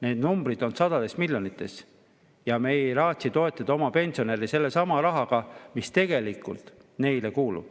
Need numbrid on sadades miljonites ja me ei raatsi toetada oma pensionäre sellesama rahaga, mis tegelikult neile kuulub.